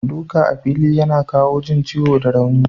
Duka a fili yana kawo jin ciwo da rauni.